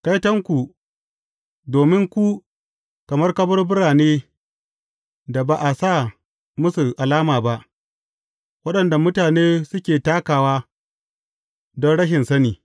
Kaitonku, domin ku kamar kaburbura ne da ba a sa musu alama ba, waɗanda mutane suke takawa don rashin sani.